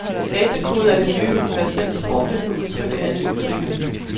Datakode er det nye universelle sprog, der kan udtrykke alle ytringer.